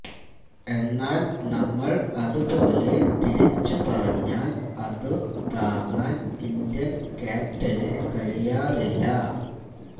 എന്നാല് നമ്മള് അതുപോലെ തിരിച്ചുപറഞ്ഞാല് അതു താങ്ങാന് ഇന്ത്യന് ക്യാപ്റ്റന് കഴിയാറില്ല